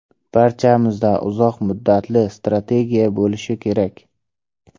Barchamizda uzoq muddatli strategiya bo‘lishi kerak”.